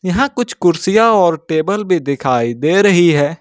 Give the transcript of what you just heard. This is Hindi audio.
यहां कुछ कुर्सियां और टेबल भी दिखाई दे रही है।